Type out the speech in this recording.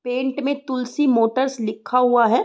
Paint में Tulsi Motors लिखा हुआ है।